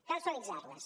cal suavitzar les